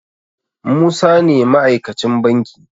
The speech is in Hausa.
Musa ne ma aikacin banki